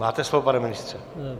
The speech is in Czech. Máte slovo, pane ministře.